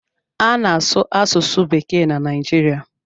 A na-asụ asụsụ bekee na Naijiria.